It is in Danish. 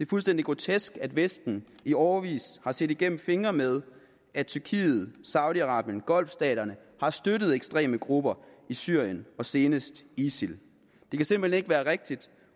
fuldstændig grotesk at vesten i årevis har set igennem fingre med at tyrkiet saudi arabien og golfstaterne har støttet ekstreme grupper i syrien og senest isil det kan simpelt hen ikke være rigtigt